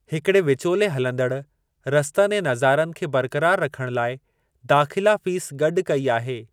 हिकिड़े विचोले हलंदड़ रस्तनि ऐं नज़ारनि खे बरक़रार रखणु लाइ दाख़िला फ़ीस गॾु कई आहे।